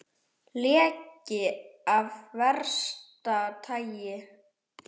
Leki af versta tagi